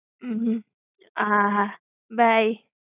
હમ્મ હમ્મ. હા હા. Bye.